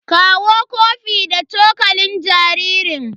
Kawo kofi da cokalin jaririn.